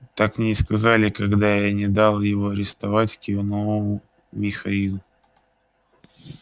так мне и сказали когда я не дал его арестовать кивнул михаил